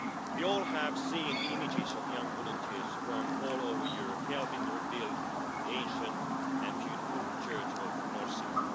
We all have seen the images of young volunteers from all over Europe helping to rebuild the ancient and beautiful church of Norcia.